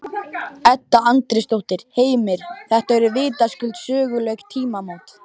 Edda Andrésdóttir: Heimir, þetta eru vitaskuld söguleg tímamót?